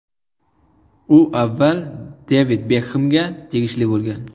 U avval Devid Bekhemga tegishli bo‘lgan .